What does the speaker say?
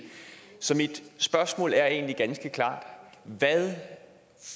så mit spørgsmål er egentlig ganske klart hvad